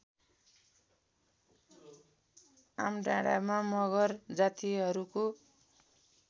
आमडाँडामा मगर जातिहरूको